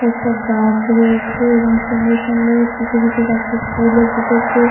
কয়েকটা গাছ রয়েছে এবং সুন্দর সুন্দর কিছু কিছু গাছে ফুলও ফুটেছে।